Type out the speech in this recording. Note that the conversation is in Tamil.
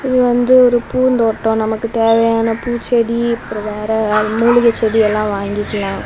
இது வந்து ஒரு பூந்தோட்டம் நமக்கு தேவையான பூச்செடி அப்ரோம் வேற மூலிகை செடி எல்லாம் வாங்கிகலா.